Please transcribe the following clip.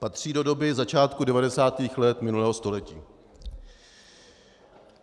Patří do doby začátku 90. let minulého století.